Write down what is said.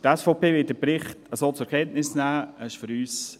Die SVP wird den Bericht so zur Kenntnis nehmen;